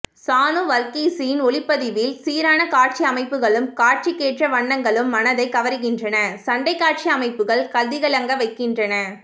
சானு வர்கீஸின் ஒளிப்பதிவில் சீரான காட்சியமைப்புகளும் காட்சிக்கேற்ற வண்ணங்களும் மனத்தைக் கவர்கின்றன சண்டைக்காட்சி அமைப்புகள் கதிகலங்க வைக்கின்றன